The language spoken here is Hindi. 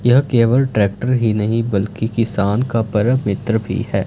यह केवल ट्रैक्टर ही नहीं बल्कि किसान का परम मित्र भी है।